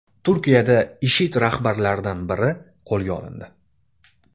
Turkiyada IShID rahbarlaridan biri qo‘lga olindi.